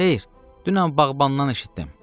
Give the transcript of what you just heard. “Xeyr, dünən bağbandan eşitdim.”